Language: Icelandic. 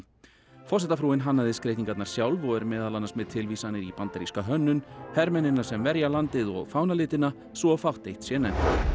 forsetafrúin hannaði skreytingarnar sjálf og er meðal annars með tilvísanir í bandaríska hönnun hermennina sem verja landið og fánalitina svo fátt eitt sé nefnt